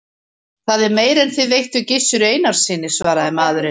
Það er meira en þið veittuð Gizuri Einarssyni, svaraði maðurinn.